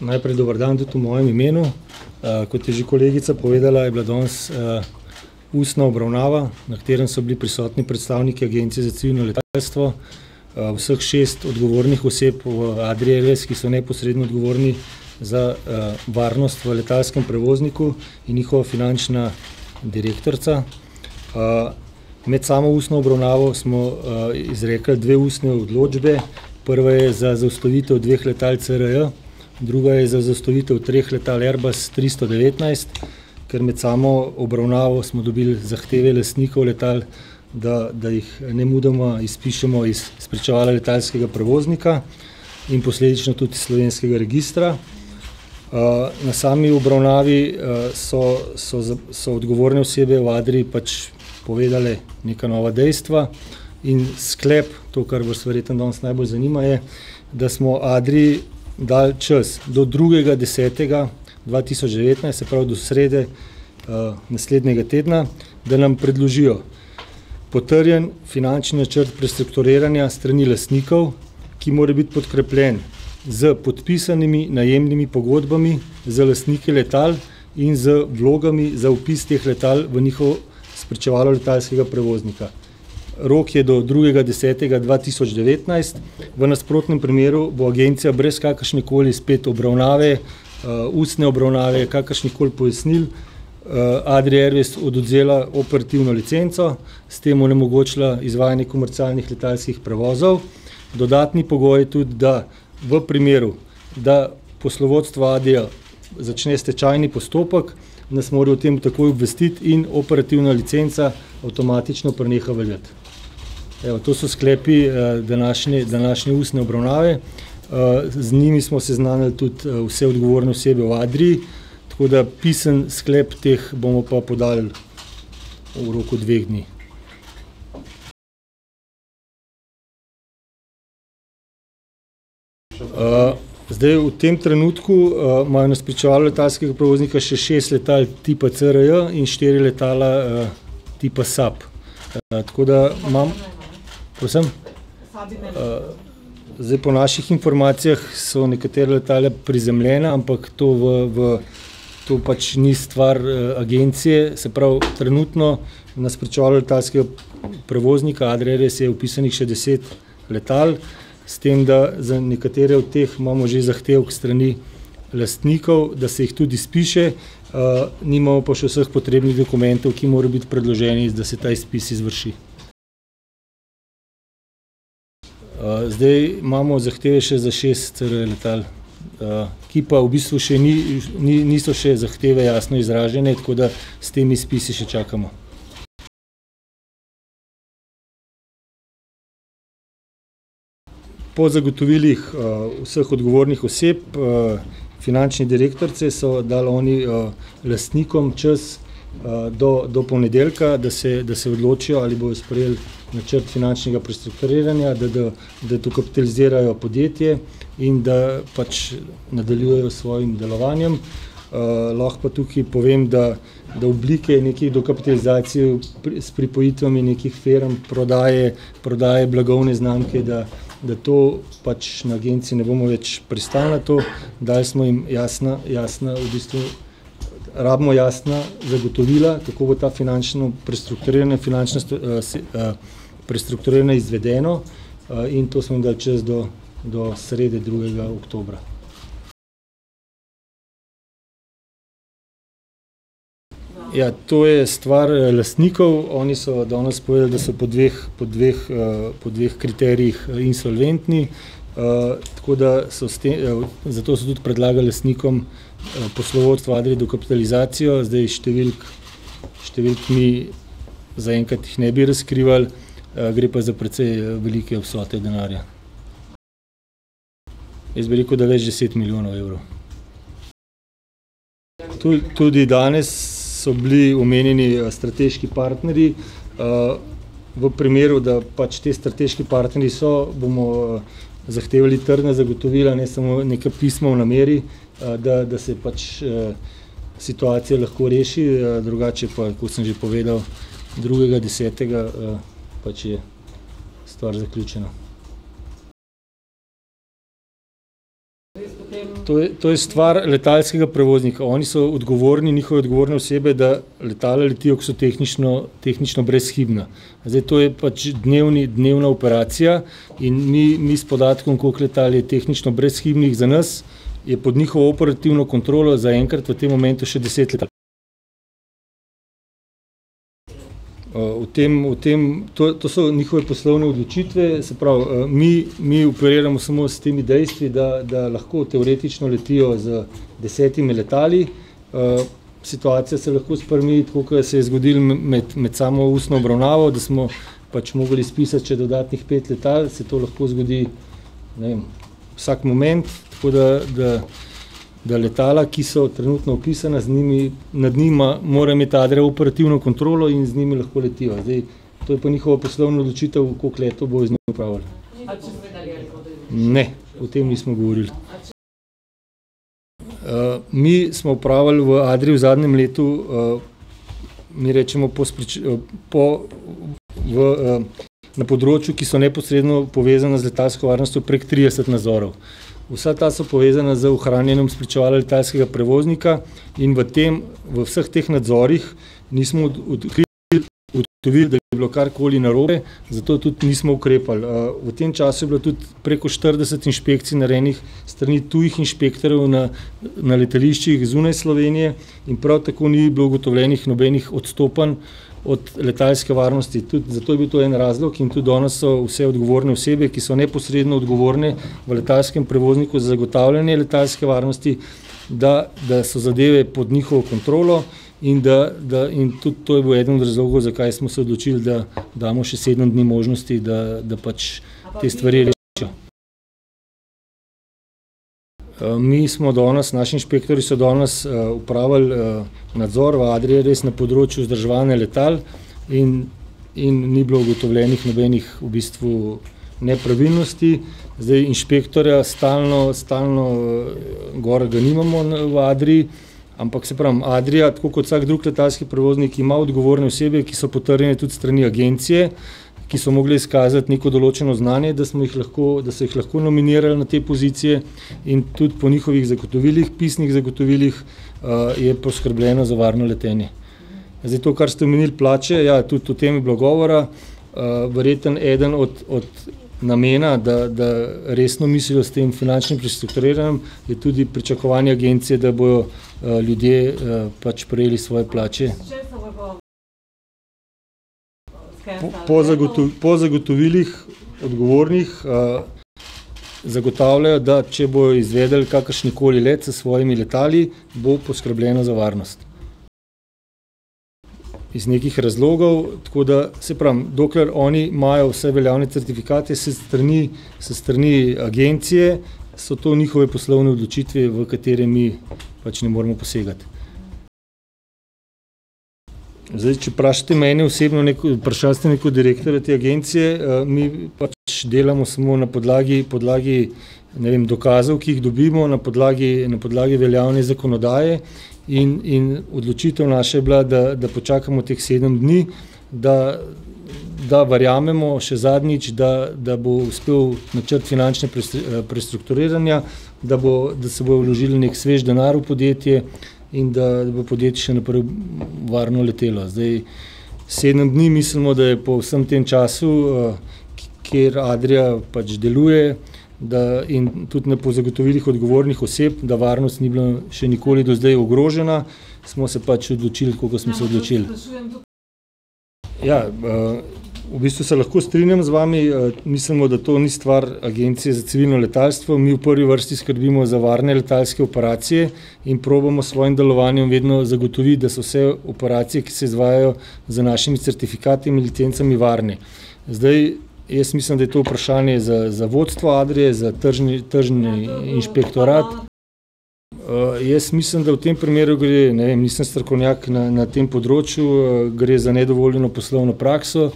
Najprej dober dan tudi v mojem imenu. kot je že kolegica povedala, je bila danes, ustna obravnava, na katerem so bili prisotni predstavniki Agencije za civilno letalstvo, vseh šest odgovornih oseb v Adrii Airways, ki so neposredno odgovorni za, varnost v letalskem prevozniku, in njihova finančna direktorica. med samo ustno obravnavo smo, izrekli dve ustni odločbi. Prva je za zaustavitev dveh letal CRJ, druga je za zaustavitev treh letal Airbus tristo devetnajst, ker med samo obravnavo smo dobili zahteve lastnikov letal, da, da jih nemudoma izpišemo iz spričevala letalskega prevoznika in posledično tudi iz slovenskega registra. na sami obravnavi, so, so so odgovorne osebe v Adrii pač povedale neka nova dejstva. In sklep, to, kar vas verjetno danes najbolj zanima, je, da smo Adrii dali čas do drugega desetega dva tisoč devetnajst, se pravi do srede, naslednjega tedna, da nam predložijo potrjen finančni načrt prestrukturiranja s strani lastnikov, ki mora biti podkrepljen s podpisanimi najemnimi pogodbami z lastniki letal in z vlogami za vpis teh letal v njihovo spričevalo letalskega prevoznika. Rok je do drugega desetega dva tisoč devetnajst, v nasprotnem primeru bo Agencija brez kakršnekoli spet obravnave, ustne obravnave, kakršnihkoli pojasnil, Adrii Airways odvzela operativno licenco, s tem onemogočila izvajanje komercialnih letalskih prevozov. Dodatni pogoj je tudi, da v primeru, da poslovodstva Adrie začne stečajni postopek, nas mora o tem takoj obvestiti in operativna licenca avtomatično preneha veljati. Evo, to so sklepi, današnje ustne obravnave, z njimi smo seznanili tudi, vse odgovorne osebe v Adrii, tako da pisni sklep teh bomo pa podali v roku dveh dni. zdaj v tem trenutku, imajo na spričevalu letalskega prevoznika še šest letal tipa CRJ in štiri letala, tipa Saab. tako da imam ... Prosim? zdaj, po naših informacijah so nekatera letala prizemljena, ampak to v, v to pač ni stvar Agencije. Se pravi, trenutno na spričevalu letalskega prevoznika Adrie Airways je vpisanih še deset letal, s tem, da za nekatere od teh imamo že zahtevek s strani lastnikov, da se jih tudi izpiše, nimamo pa še vseh potrebnih dokumentov, ki morajo biti predloženi, da se ta izpis izvrši. zdaj imamo zahteve še za šest CRJ letal, ki pa v bistvu še niso še zahteve jasno izražene, tako da s temi izpisi še čakamo. Po zagotovilih, vseh odgovornih oseb, finančne direktorice so dali oni, lastnikom čas, do, do ponedeljka, da se, da se odločijo, ali bojo sprejeli načrt finančnega prestrukturiranja, da ga, da dokapitalizirajo podjetje in da pač nadaljujejo s svojim delovanjem. lahko pa tukaj povem, da, da oblike neke dokapitalizacije s pripojitvami nekih firm, prodaje, prodaje blagovne znamke, da, da to, pač na Agenciji ne bomo več pristali na to. Dali smo jim jasna, jasna v bistvu, rabimo jasna zagotovila, kako bo to finančno prestrukturiranje finančno, prestrukturiranje izvedeno. in to smo jim dali čas do do srede, drugega oktobra. Ja, to je stvar, lastnikov, oni so danes povedali, da so po dveh, po dveh, po dveh kriterijih insolventni, tako da so s zato so tudi predlagali lastnikom, poslovodstvu Adrie dokapitalizacijo. Zdaj, številk, številk mi zaenkrat jih ne bi razkrivali, gre pa za precej velike vsote denarja. Jaz bi rekel, da več deset milijonov evrov. tudi danes so bili omenjeni, strateški partnerji. v primeru, da pač ti strateški partnerji so, bomo zahtevali trdna zagotovila, ne samo neka pisma o nameri, da, da se pač, situacija lahko reši, drugače pa, kot sem že povedal, drugega desetega, pač je stvar zaključena. To je, to je stvar letalskega prevoznika. Oni so odgovorni, njihove odgovorne osebe, da letala letijo, ki so tehnično, tehnično brezhibna. Zdaj to je pač dnevna operacija in mi, mi s podatkom, koliko letal je tehnično brezhibnih za nas, je pod njihovo operativno kontrolo zaenkrat v tem momentu še deset O tem, o tem, to, to so njihove poslovne odločitve. Se pravi, mi, mi operiramo samo s temi dejstvi, da, da lahko teoretično letijo z desetimi letali, situacija se lahko spremeni, tako kot se je zgodilo med samo ustno obravnavo, da smo pač mogli izpisati še dodatnih pet letal, se to lahko zgodi, ne vem, vsak moment. Tako da, da da letala, ki so trenutno vpisana, z njimi, nad njimi mora imeti Adria operativno kontrolo in z njimi lahko letijo. Zdaj to je pa njihova poslovna odločitev, koliko letov bojo z njimi opravili. Ne. O tem nismo govorili. mi smo opravili v Adrii v zadnjem letu, mi recimo po v, na področju, ki so neposredno povezana z letalsko varnostjo, prek trideset nadzorov. Vsa ta so povezana z ohranjanjem spričevala letalskega prevoznika in v tem, v vseh teh nadzorih nismo odkrili, ugotovili, da bi bilo karkoli narobe, zato tudi nismo ukrepali. v tem času je bilo tudi preko štirideset inšpekcij narejenih s strani tujih inšpektorjev na, na letališčih zunaj Slovenije in prav tako ni bilo ugotovljenih nobenih odstopanj od letalske varnosti. Tudi zato je bil to en razlog, in tudi danes so vse odgovorne osebe, ki so neposredno odgovorne v letalskem prevozniku za zagotavljanje letalske varnosti, da, da so zadeve pod njihovo kontrolo in da, da, in tudi to je bil eden od razlogov, zakaj smo se odločili, da damo še sedem dni možnosti, da, da pač te stvari rešijo. mi smo danes, naši inšpektorji so danes, opravili, nadzor v Adrii res na področju vzdrževanja letal in, in ni bilo ugotovljenih nobenih v bistvu nepravilnosti. Zdaj inšpektorja stalno, stalno, gor ga nimamo v Adrii, ampak, saj pravim, Adria, tako kot vsak drug letalski prevoznik, ima odgovorne osebe, ki so potrjene tudi s strani agencije, ki so mogle izkazati neko določeno znanje, da smo jih lahko, da so jih lahko nominirali na te pozicije. In tudi po njihovih zagotovilih, pisnih zagotovilih, je poskrbljeno za varno letenje. Zdaj to, kar ste omenili, plače, ja, tudi o tem je bilo govora. verjetno eden od, od namena, da, da resno mislijo s tem finančnim prestrukturiranjem, je tudi pričakovanje Agencije, da bojo, ljudje, pač prejeli svoje plače. Po, po po zagotovilih odgovornih, zagotavljajo, da če bojo izvedli kakršenkoli let s svojimi letali, bo poskrbljeno za varnost. Iz nekih razlogov. Tako da, saj pravim, dokler oni imajo vse veljavne certifikate s strani, s strani Agencije, so to njihove poslovne odločitve, v katere mi pač ne moremo posegati. Zdaj, če vprašate mene osebno, ne, ke vprašali ste me kot direktorja te agencije, mi pač delamo samo na podlagi, podlagi, ne vem, dokazov, ki jih dobimo, na podlagi, na podlagi veljavne zakonodaje in, in odločitev naša je bila, da, da počakamo teh sedem dni, da, da verjamemo še zadnjič, da, da bo uspel načrt finančne prestrukturiranja, da bo, da se bo vložilo neki svež denar v podjetje in da bo podjetje še naprej varno letelo. Zdaj sedem dni mislimo, da je po vsem tem času, kjer Adria pač deluje, da, in tudi po zagotovilih odgovornih oseb, da varnost ni bila še nikoli do zdaj ogrožena, smo se pač odločili, tako kot smo se odločili. Ja, v bistvu se lahko strinjam z vami. Mislimo, da to ni stvar Agencije za civilno letalstvo. Mi v prvi vrsti skrbimo za varne letalske operacije in probamo s svojim delovanjem vedno zagotoviti, da so vse operacije, ki se izvajajo z našimi certifikati in licencami, varne. Zdaj, jaz mislim, da je to vprašanje za, za vodstvo Adrie, za tržni, tržni inšpektorat. jaz mislim, da v tem primeru gre, ne vem, nisem strokovnjak na, na tem področju, gre za nedovoljeno poslovno prakso.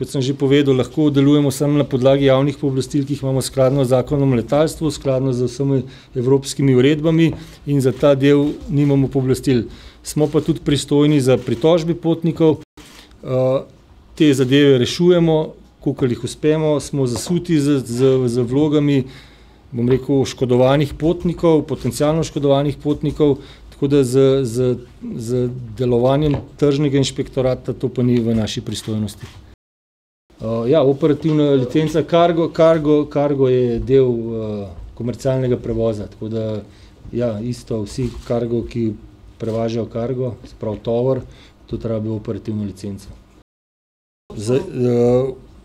Kot sem že povedal, lahko delujemo samo na podlagi javnih pooblastil, ki jih imamo skladno z Zakonom o letalstvu, skladno z vsemi evropskimi uredbami, in za ta del nimamo pooblastil. Smo pa tudi pristojni za pritožbe potnikov, te zadeve rešujemo, kolikor jih uspemo, smo, smo zasuti z vlogami, bom rekel, oškodovanih potnikov, potencialno oškodovanih potnikov, tako da z, z, z, delovanjem tržnega inšpektorata, to pa ni v naši pristojnosti. ja, operativna licenca. Kargo, kargo, kargo je del, komercialnega prevoza, tako da ja, isto, vsi kargo, ki prevažajo kargo, se pravi tovor, tudi rabijo operativno licenco.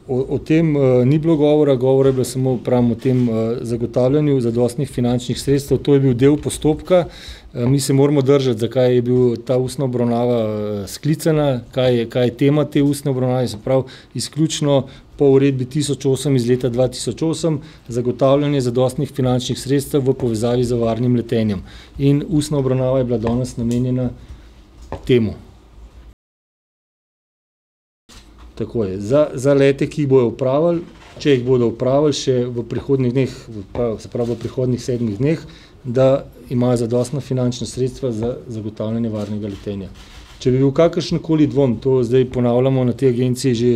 o tem, ni bilo govora, govora je bilo samo, pravim, o tem, zagotavljanju zadostnih finančnih sredstev, to je bil del postopka. mi se moramo držati, zakaj je bila ta ustna obravnava sklicana, kaj, kaj je tema te ustne obravnave. Se pravi izključno po uredbi tisoč osem iz leta dva tisoč osem zagotavljanje zadostnih finančnih sredstev v povezavi z varnim letenjem. In ustna obravnava je bila danes namenjena temu. Tako je. Za, za lete, ki jih bojo opravili, če jih bodo opravili še v prihodnjih dneh, pa se pravi, v prihodnjih sedmih dneh, da imajo zadostna finančna sredstva za zagotavljanje varnega letenja. Če bi bil kakršenkoli dvom, to zdaj ponavljamo na tej Agenciji že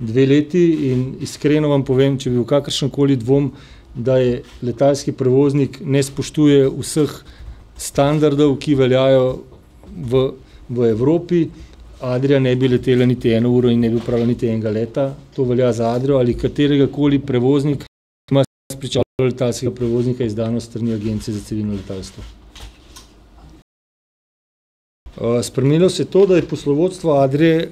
dve leti, in iskreno vam povem, če bi bil kakršenkoli dvom, da je letalski prevoznik ne spoštuje vseh standardov, ki veljajo v v Evropi, Adria ne bi letela niti eno uro in ne bi opravila niti enega leta. To velja za Adrio ali kateregakoli prevoznika, ki ima spričevalo letalskega prevoznika, izdano s strani Agencije za civilno letalstvo. spremenilo se je to, da je poslovodstvo Adrie,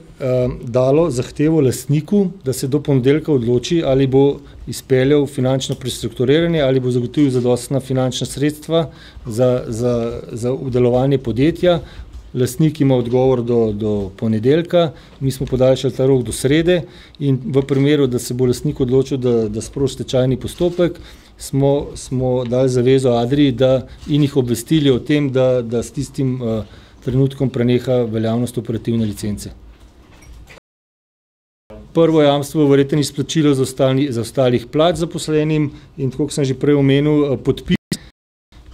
dalo zahtevo lastniku, da se do ponedeljka odloči, ali bo izpeljal finančno prestrukturiranje, ali bo zagotovil zadostna finančna sredstva za, za, za delovanje podjetja. Lastnik ima odgovor do, do ponedeljka, mi smo podaljšali ta rok do srede in v primeru, da se bo lastnik odločil, da, da sproži stečajni postopek, smo, smo dali zavezo Adrii, da, in jih obvestili o tem, da, da s tistim, trenutkom preneha veljavnost operativne licence. Prvo jamstvo verjetno izplačilo zaostalih plač zaposlenim. In tako, kot sem že prej omenil, podpis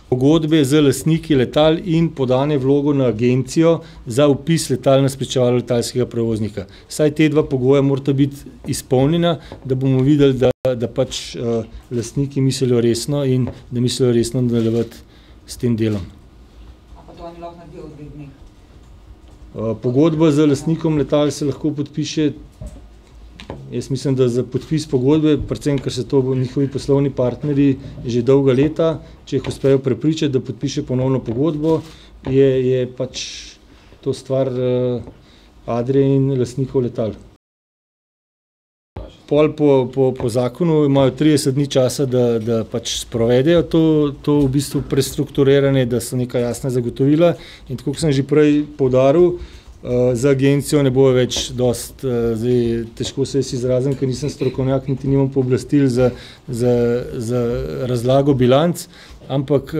pogodbe z lastniki letal in podanje vlogo na Agencijo za vpis letal na spričevalo letalskega prevoznika. Vsaj ta dva pogoja morata biti izpolnjena, da bomo videli, da, da pač, lastniki mislijo resno in da mislijo resno nadaljevati s tem delom. pogodba z lastnikom letal se lahko podpiše, jaz mislim, da za podpis pogodbe, predvsem ko so to njihovi poslovni partnerji že dolga leta, če jih uspejo prepričati, da podpišejo ponovno pogodbo, je, je pač to stvar, Adrie in lastnikov letal. Pol po, po, po zakonu imajo trideset dni časa, da, da pač sprovedejo to, to v bistvu prestrukturiranje, da so neka jasna zagotovila, in tako, kot sem že prej poudaril, za Agencijo ne bojo več dosti, zdaj, težko se jaz izrazim, ker nisem strokovnjak niti nimam pooblastil za, za, za razlago bilanc, ampak,